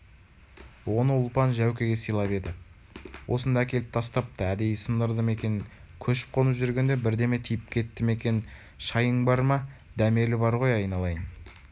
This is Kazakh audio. оны ұлпан жәукеге сыйлап еді осында әкеліп тастапты әдейі сындырды ма екен көшіп-қонып жүргенде бірдеме тиіп кетті ме екеншайың бар ма дәмелі бар ғой айналайын